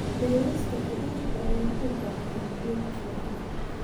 Beerista khudaarta ayaa u baahan biyo ku filan.